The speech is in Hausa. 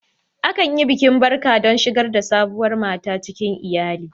Akan yi bikin barka don shigar da sabuwar mata cikin iyalin.